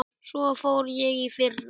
Svo fór ég í fyrra.